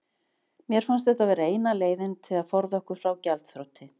Mér fannst þetta vera eina leiðin til að forða okkur frá gjaldþroti.